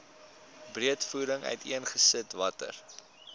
breedvoerig uiteengesit watter